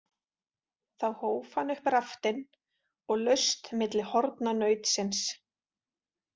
Þá hóf hann upp raftinn og laust milli horna nautsins.